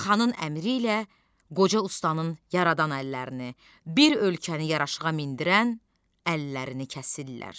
Xanın əmri ilə qoca ustanın yaradan əllərini, bir ölkəni yaraşığa mindirən əllərini kəsirlər.